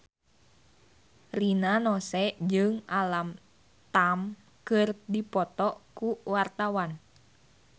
Rina Nose jeung Alam Tam keur dipoto ku wartawan